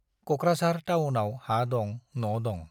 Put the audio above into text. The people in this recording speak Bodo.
क'क्राझार टाउनाव हा दं, न' दंं।